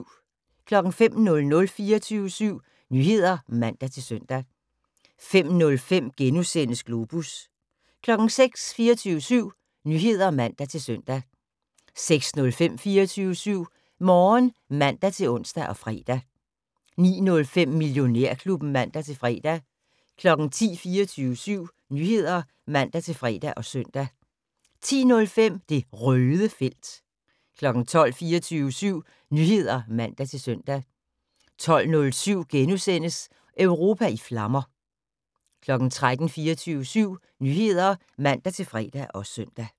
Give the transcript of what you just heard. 05:00: 24syv Nyheder (man-søn) 05:05: Globus * 06:00: 24syv Nyheder (man-søn) 06:05: 24syv Morgen (man-ons og fre) 09:05: Millionærklubben (man-fre) 10:00: 24syv Nyheder (man-fre og søn) 10:05: Det Røde felt 12:00: 24syv Nyheder (man-søn) 12:07: Europa i flammer * 13:00: 24syv Nyheder (man-fre og søn)